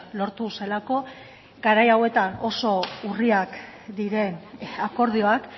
lortu zelako garai hauetan oso urriak diren akordioak